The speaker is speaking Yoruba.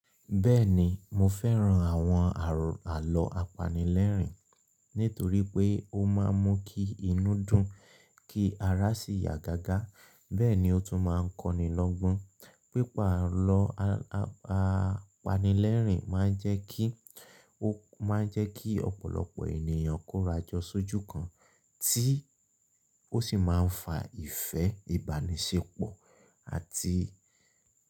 Bẹ́ẹ̀ni mo fẹ́ran àwọn àro àlọ́ apanilẹ́rìn nítorí pé ó máa ń mú kí inú dùn, kí ara sì yá gágá. Bẹ́ẹ̀ ni ó tún máa ń kọ́ni lọ́gbọ́n. Pípàrọ̀ a a apanilẹ́rìn máa jẹ́ ki o máa ń jẹ́ kí ọ̀pọ̀lọpọ̀ ènìyàn kórajọ sójú kan tí ó sì máa ń fa ìfẹ́ ìbánisẹ́pọ̀ àti.